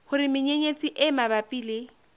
hore menyenyetsi e mabapi le